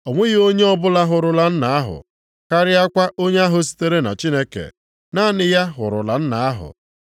O nweghị onye ọbụla hụrụla Nna ahụ karịakwa onye ahụ sitere na Chineke, naanị ya hụrụla Nna ahụ.